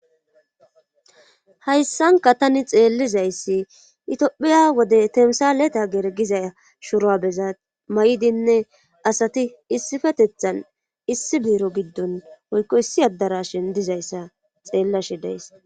Hayssanka tani xeellizayssi itiphiya wode temsaleta gergiza shuroabeza may7idinne asati issifetethan issi biiro giddon hoykko issi addara shin dizayssa xeellashi deyss.